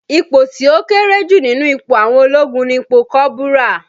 Ipò tí ó kéré jù nínú ipò àwọn ológun ni ipò kọ́bùrà